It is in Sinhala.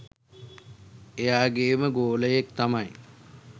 එයාගෙම ගෝලයෙක් තමයි.